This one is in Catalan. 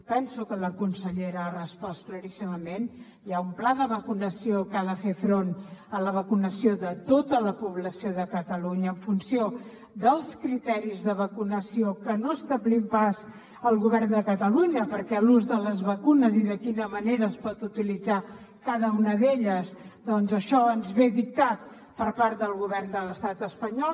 penso que la consellera ha respost claríssimament hi ha un pla de vacunació que ha de fer front a la vacunació de tota la població de catalunya en funció dels criteris de vacunació que no establim pas el govern de catalunya perquè l’ús de les vacunes i de quina manera es pot utilitzar cada una d’elles doncs això ens ve dictat per part del govern de l’estat espanyol